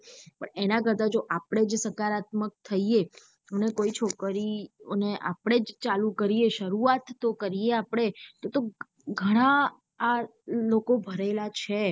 પણ એના કરતા જો આપડે જો સકારાત્મક થૈયે અને કોઈ છોકરીઓ ને આપણેજ ચાલુ કરીયે સુરૂઆત તો કરીયે આપડે તો ગાનઆ લોકો ભરેલા છે.